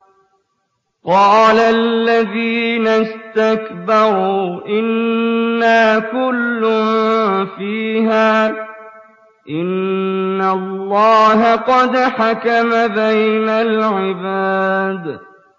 قَالَ الَّذِينَ اسْتَكْبَرُوا إِنَّا كُلٌّ فِيهَا إِنَّ اللَّهَ قَدْ حَكَمَ بَيْنَ الْعِبَادِ